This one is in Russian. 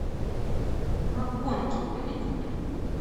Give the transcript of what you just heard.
макконки выведи мне